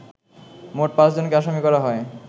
মোট পাঁচজনকে আসামি করা হয়